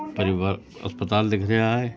परिवार अस्पताल दिख रिया है।